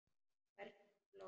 Hvernig hún hló.